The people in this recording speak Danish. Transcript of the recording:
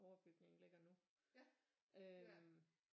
Overbygningen ligger nu øh